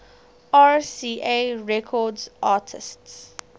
rca records artists